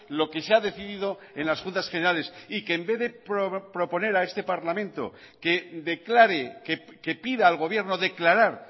lo que se ha decidido en las juntas generales y que en vez de proponer a este parlamento que declare que pida al gobierno declarar